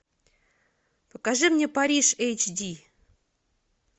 покажи мне париж эйч ди